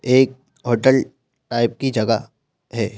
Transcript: एक hotel type की जगह है।